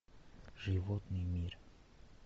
животный мир